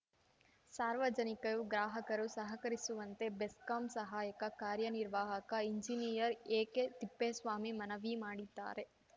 ಸಾರ್ವಜನಿಕರು ಗ್ರಾಹಕರು ಸಹಕರಿಸುವಂತೆ ಬೆಸ್ಕಾಂ ಸಹಾಯಕ ಕಾರ್ಯ ನಿರ್ವಾಹಕ ಎಂಜಿನಿಯರ್‌ ಎಕೆತಿಪ್ಪೇಸ್ವಾಮಿ ಮನವಿ ಮಾಡಿದ್ದಾರೆ